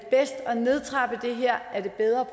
er bedre